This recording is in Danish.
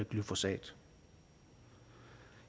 glyfosat